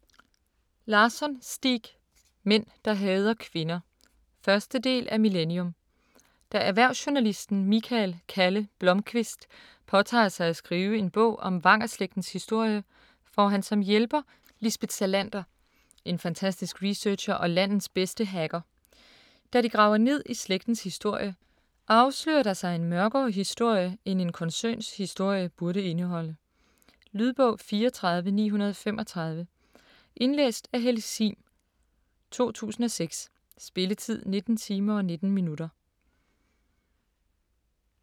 Larsson, Stieg: Mænd der hader kvinder 1. del af Millennium. Da erhvervsjournalisten Mikael "Kalle" Blomkvist påtager sig at skrive en bog om Vanger-slægtens historie, får han som hjælper Lisbeth Salander, en fantastisk researcher og landets bedste hacker. Da de graver ned i slægtens historie, afslører der sig en mørkere historie, end en koncerns historie burde indeholde. Lydbog 34935 Indlæst af Helle Sihm, 2006. Spilletid: 19 timer, 19 minutter.